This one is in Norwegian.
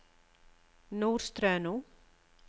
Nordstrøno